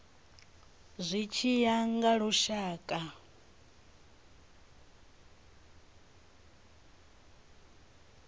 zwi tshi ya nga lushaka